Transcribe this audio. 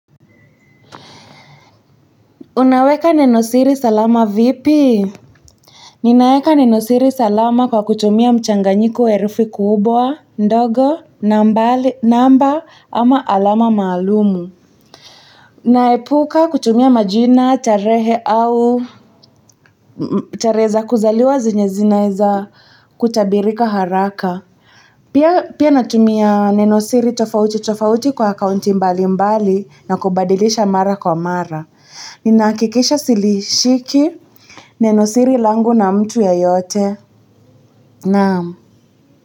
Unaweka nenosiri salama vipi? Ninaeka nenosiri salama kwa kutumia mchanganyiko wa herufi kubwa, ndogo, namba ama alama maalumu. Naepuka kutumia majina, tarehe au, tarehe za kuzaliwa zenye zinaeza kutabirika haraka. Pia. Pia natumia nenosiri tofauti tofauti kwa akaunti mbalimbali na kubadilisha mara kwa mara. Ninahakikisha silishiki. Nenosiri langu na mtu yeyote. Naam.